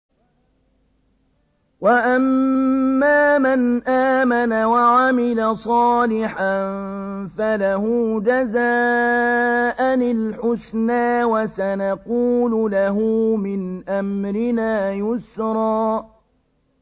وَأَمَّا مَنْ آمَنَ وَعَمِلَ صَالِحًا فَلَهُ جَزَاءً الْحُسْنَىٰ ۖ وَسَنَقُولُ لَهُ مِنْ أَمْرِنَا يُسْرًا